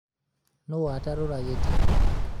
nũ watarũra gĩtĩ